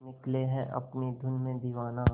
निकले है अपनी धुन में दीवाना